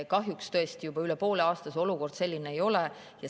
Kahjuks tõesti juba üle poole aasta olukord selline ei ole.